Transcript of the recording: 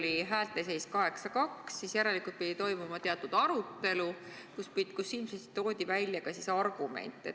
Kui häälte seis oli 8 : 2, siis järelikult pidi toimuma teatud arutelu, kus ilmselt toodi välja ka argumente.